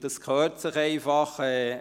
Das gehört einfach dazu.